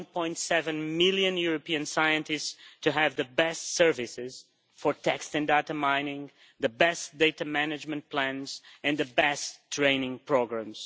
1.7 million European scientists to have the best services for text and data mining, the best data management plans and the best training programmes.